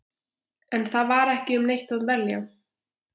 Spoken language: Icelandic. En það var ekki um neitt að velja.